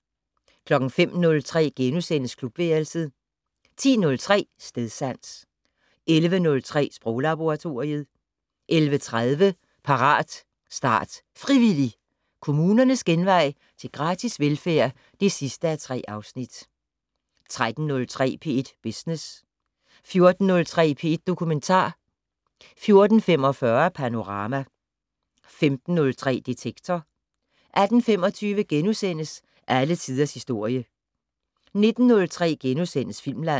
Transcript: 05:03: Klubværelset * 10:03: Stedsans 11:03: Sproglaboratoriet 11:30: Parat, start, frivillig! - Kommunernes genvej til gratis velfærd (3:3) 13:03: P1 Business 14:03: P1 Dokumentar 14:45: Panorama 15:03: Detektor 18:25: Alle tiders historie * 19:03: Filmland *